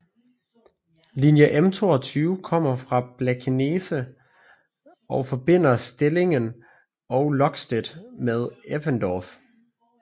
Linje M22 kommer fra Blankenese og forbinder Stellingen og Lokstedt med Eppendorf